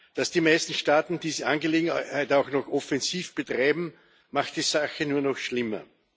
Dass die meisten Staaten diese Angelegenheit auch noch offensiv betreiben, macht die Sache nur noch schlimmer.